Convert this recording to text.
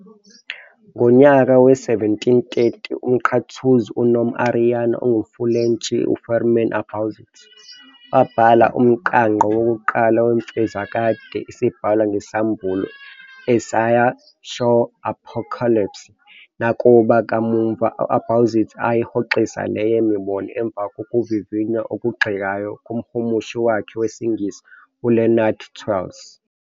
Ngonyaka we-1730 umNqathuzi nomAriyana ongumfulentshi, uFirmin Abauzit wabhala umqangqo wokuqala wemfezokade, "Isibhalwa ngesAmbulo" "Essai sur l'Apocalypse". Nakuba, kamuva, uAbauzit ayihoxisa leyo mibono emva kokuvivinywa okugxekayo komhumushi wakhe wesingisi, uLeonard Twells.